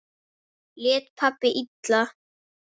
Lét pabbi illa?